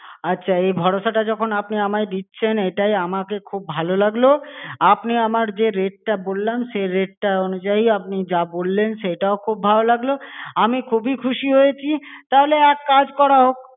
আচ্ছা এই ভরসাটা যখন আপনি আমায় দিচ্ছেন, এইটাই আমাকে খুব ভালো লাগলো। আপনি আমার যে rate টা বললাম সেই rate টা অনুযায়ী আপনি যা বললেন সেটাও খুব ভালো লাগলো। আমি খুবই খুশি হয়েছি, তাহলে এক কাজ করা হোক।